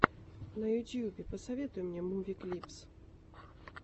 на ютюбе посоветуй мне муви клипс